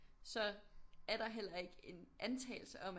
Så er der heller ikke en antagelse om at